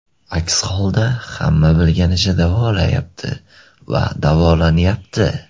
Aks holda hamma bilganicha davolayapti va davolanyapti.